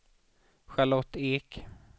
Charlotte Ek